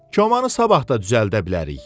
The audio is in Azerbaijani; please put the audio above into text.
Komanı sabah da düzəldə bilərik.